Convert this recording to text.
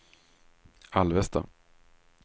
Alvesta